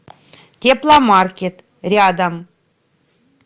тепломаркет рядом